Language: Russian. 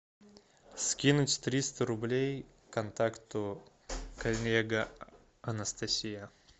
скинуть триста рублей контакту коллега анастасия